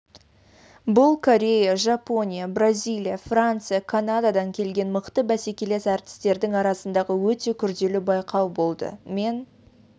бұл корея жапония бразилия франция канададан келген мықты бәсекелес әртістердің арасындағы өте күрделі байқау болды мен